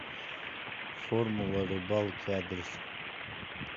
формула рыбалки адрес